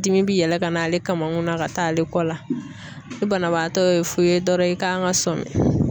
Dimi bi yɛlɛ ka na ale kama kunna ka taa ale kɔ la, ni banabaatɔ ye fu ye dɔrɔn i kan ka sɔmi.